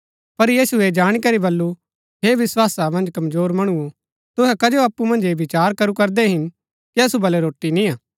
पर यीशुऐ ऐह जाणी करी बल्लू हे विस्‍वासा मन्ज कमजोर मणुओ तुहै कजो अप्पु मन्ज ऐह विचार करू करदै हिन कि असु बलै रोटी निय्आ